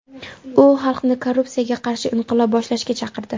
U xalqni korrupsiyaga qarshi inqilob boshlashga chaqirdi.